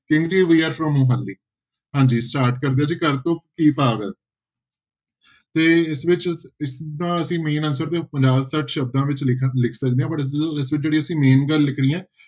we are from Manali ਹਾਂਜੀ start ਕਰਦੇ ਘਰ ਤੋਂ ਕੀ ਭਾਵ ਹੈ ਤੇ ਇਸ ਵਿੱਚ ਇਸਦਾ ਅਸੀਂ main answer ਕੋਈ ਪੰਜਾਹ ਛੱਠ ਸ਼ਬਦਾਂ ਵਿੱਚ ਲਿਖਣ ਲਿਖ ਸਕਦੇ ਹਾਂ but ਅਸੀਂ ਜਿਹੜੀ ਇੱਥੇ main ਗੱਲ ਲਿਖਣੀ ਹੈ